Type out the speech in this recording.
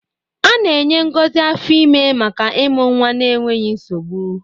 A na-enye ngozi afọ ime maka ịmụ nwa n'enweghị nsogbu.